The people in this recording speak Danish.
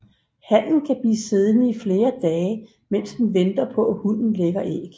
Hannen kan blive siddende i flere dage mens den venter på at hunnen lægger æg